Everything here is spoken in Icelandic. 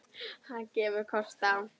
Hann gefur kost á